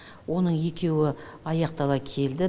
оның екеуі аяқтала келді